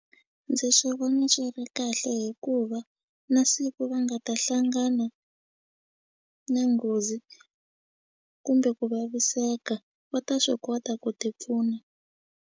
Ndzi swi vona swi ri kahle hikuva na siku va nga ta hlangana na nghozi kumbe ku vaviseka va ta swi kota ku ti pfuna.